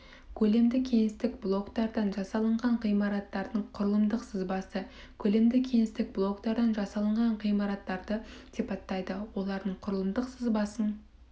көлемді кеңістік блоктардан жасалынған ғимараттардың құрылымдық сызбасы көлемді кеңістік блоктардан жасалынған ғимараттарды сипаттайды олардың құрылымдық сызбасын